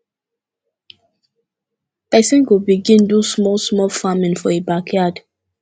persin go begin do small small farming for e backyard